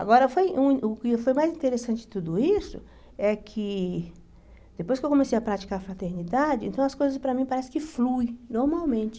Agora, foi um o que foi mais interessante de tudo isso é que, depois que eu comecei a praticar a fraternidade, então as coisas para mim parecem que fluem normalmente.